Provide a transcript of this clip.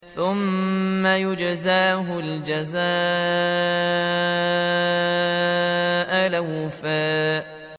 ثُمَّ يُجْزَاهُ الْجَزَاءَ الْأَوْفَىٰ